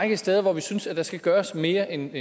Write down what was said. række steder hvor vi synes der skal gøres mere end